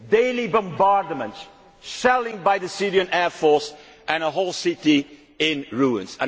Daily bombardments, shelling by the Syrian air force and a whole city in ruins.